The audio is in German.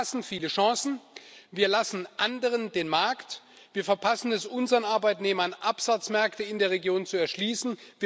Wir verpassen viele Chancen, wir lassen anderen den Markt, wir verpassen es, unseren Arbeitnehmern Absatzmärkte in der Region zu erschließen.